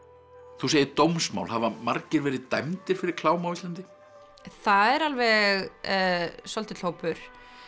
þú segir dómsmál hafa margir verið dæmdir fyrir klám á Íslandi það er alveg svolítill hópur